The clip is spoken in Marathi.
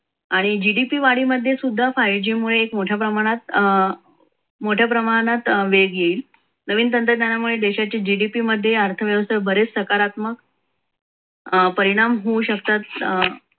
आणि gdp वाडी मध्ये सुद्धा पाहिजे मुळे मोठ्या प्रमाणात अं मोठ्या प्रमाणात वेग येईल नवीन तंत्रज्ञानामुळे gdp मध्ये अर्थव्यवस्था बरेच सकारात्मक अं परिणाम होऊ शकतात.